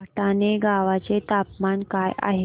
भटाणे गावाचे तापमान काय आहे